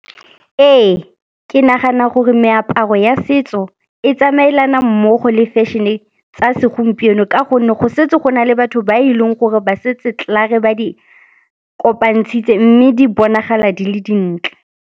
Ee, ke nagana gore meaparo ya setso e tsamaelana mmogo le fashion-e tsa segompieno ka gonne go setse go na le batho ba e leng gore ba setse klaar-e ba di kopantshitse mme di bonagala di le dintle.